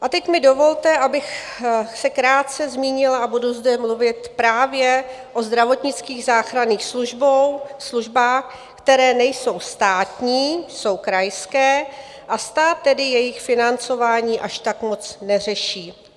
A teď mi dovolte, abych se krátce zmínila, a budu zde mluvit právě o zdravotnických záchranných službách, které nejsou státní, jsou krajské, a stát tedy jejich financování až tak moc neřeší.